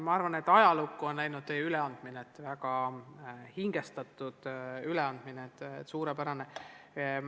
Ma arvan, et teie üleandmine on ajalukku läinud – see oli väga hingestatud, suurepärane.